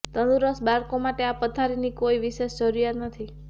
તંદુરસ્ત બાળકો માટે આ પથારીની કોઈ વિશેષ જરૂરિયાત નથી